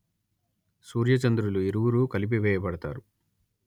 సూర్యచంద్రులు ఇరువురూ కలిపివేయబడుతారు